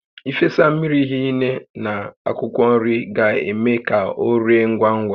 Ị fesa mmiri hinne na akwụkwọ nri ga-eme ka o ree ngwa ngwá